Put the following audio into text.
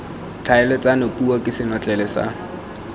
tlhaeletsano puo ke senotlele sa